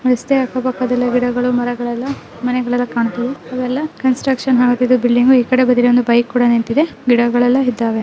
ರಸ್ತೆ ಅಕ್ಕ ಪಕ್ಕದಲ್ಲಿ ಗಿಡಗಳು ಮರಗಳು ಎಲ್ಲ ಮನೆಗಳೆಲ್ಲ ಕಾಣ್ತವೆ ಇವೆಲ್ಲ ಕನ್ಸ್ಟ್ರಕ್ಷನ್ ಆಗುತ್ತಿದೆ ಬಿಲ್ಡಿಂಗ್ ಆ ಕಡೆ ಬದಿಲ್ಲಿ ಒಂದ್ ಬೈಕ್ ಕೂಡ ನಿಂತಿದೆ ಗಿಡಗಳೆಲ್ಲ ಇದ್ದವೇ --